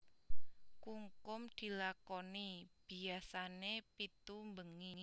Kungkum dilakoni biasané pitu bengi